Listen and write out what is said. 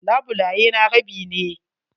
Labulaye na rabi ne.